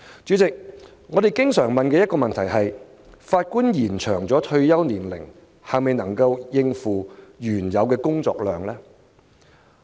主席，我們經常問的一個問題是，延展法官退休年齡是否能夠應付原有的工作量？